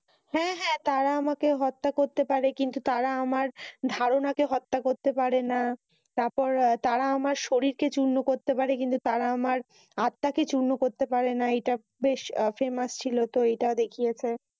হ্যাঁ হ্যাঁ। তারা আমাকে হত্যা করতে পাড়ে কিন্তু তারা আমার ধারণাকে হত্যা করতে পাড়েনা। তারপর তারা আমার শরীরকে চুর্ণ করতে পাড়ে তারা আমার আত্মাকে চুর্ণ করেতে পাড়েনা। এটা বেশ Famous ছিল। এটা ও দেখিয়েছে।